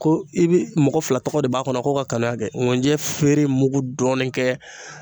Ko i bi mɔgɔ fila tɔgɔ de b'a kɔnɔ ko ka kaleya kɛ ŋunjɛ feere mugu dɔɔnin kɛ